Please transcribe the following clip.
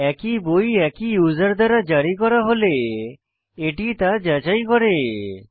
একই বই একই ইউসার দ্বারা জারি করা হলে এটি তা যাচাই করি